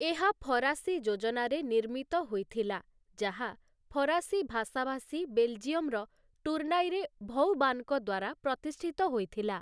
ଏହା ଫରାସୀ ଯୋଜନାରେ ନିର୍ମିତ ହୋଇଥିଲା, ଯାହା ଫରାସୀ ଭାଷାଭାଷୀ ବେଲଜିୟମ୍‌ର ଟୁର୍ଣ୍ଣାଇରେ ଭଉବାନ୍‌ଙ୍କ ଦ୍ୱାରା ପ୍ରତିଷ୍ଠିତ ହୋଇଥିଲା ।